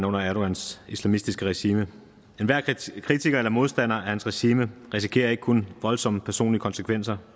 under erdogans islamistiske regime enhver kritiker eller modstander af hans regime risikerer ikke kun voldsomme personlige konsekvenser